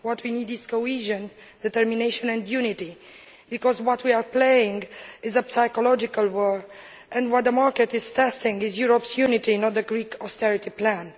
What we need is cohesion, determination and unity, because what we are playing is a psychological war and what the market is testing is Europe's unity, not the Greek austerity plan.